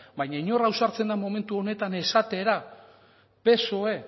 baino inor ausartzen da momentu honetan esatera psoe